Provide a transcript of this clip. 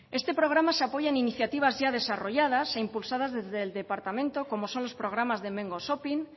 este programa se apoya en iniciativas ya desarrolladas e impulsadas desde el departamento como son los programas de hemengo shopping